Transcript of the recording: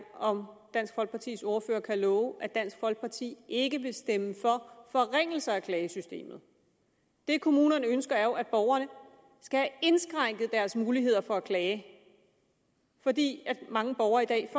om dansk folkepartis ordfører kan love at dansk folkeparti ikke vil stemme for forringelser af klagesystemet det kommunerne ønsker er jo at borgerne skal have indskrænket deres muligheder for at klage fordi mange borgere i dag